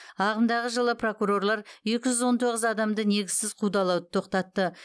ағымдағы жылы прокурорлар екі жүз он тоғыз адамды негізсіз қудалауды тоқтатты